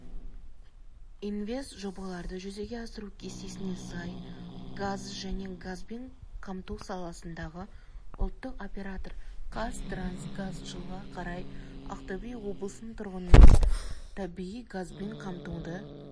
инвестжобаларды жүзеге асыру кестесіне сай газ және газбен қамту саласындағы ұлттық оператор қазтрансгаз жылға қарай ақтөбе облысының тұрғынын табиғи газбен қамтуды